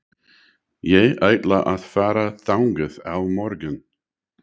Ég ætla að fara þangað á morgun.